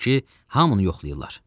Odur ki, hamını yoxlayırlar.